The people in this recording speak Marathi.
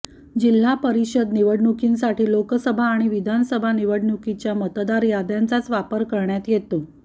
जिल्हा परिषद निवडणुकांसाठी लोकसभा आणि विधानसभा निवडणुकीच्या मतदारयाद्यांचाच वापर करण्यात येतो